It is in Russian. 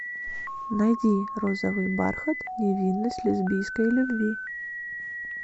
найди розовый бархат невинность лесбийской любви